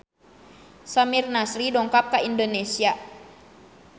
Samir Nasri dongkap ka Indonesia